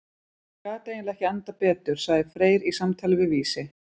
Þetta gat eiginlega ekki endað betur, sagði Freyr í samtali við Vísi.